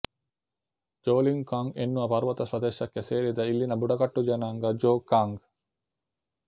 ಜೋಲೀಂಗ್ ಕಾಂಗ್ ಎನ್ನುವ ಪರ್ವತ ಪ್ರದೇಶಕ್ಕೆ ಸೇರಿದ ಇಲ್ಲಿನ ಬುಡಕಟ್ಟು ಜನಾಂಗ ಜೋಗ್ ಕಾಂಗ್